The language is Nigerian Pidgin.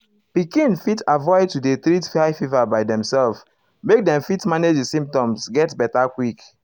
pikin fit avoid to dey treat high fever by demselves make dem fit manage di symptoms get beta quick.